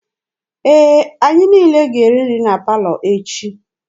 Ee, anyị niile ga-eri nri na palọ echi.